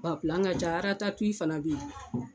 Ba ka ca fana bɛ yen